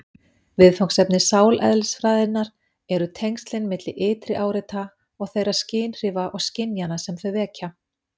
Viðfangsefni sáleðlisfræðinnar eru tengslin milli ytri áreita og þeirra skynhrifa og skynjana sem þau vekja.